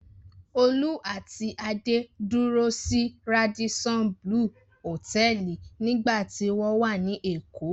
Olú àti Adé dúró sí Radisson Blu Hòtẹ́ẹ́lì nígbà tí wọ́n wá ní Èkó.